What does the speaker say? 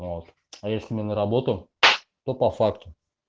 вот а если не на работу то по факту